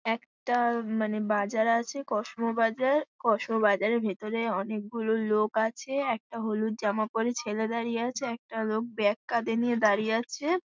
একটা মানে বাজার আছে কসমো বাজার। কসমো বাজারের ভিতরে অনেক গুলো লোক আছে। একটা হলুদ জামা পরে ছেলে দাঁড়িয়ে আছে। একটা লোক ব্যাগ কাঁধে নিয়ে দাঁড়িয়ে আছে।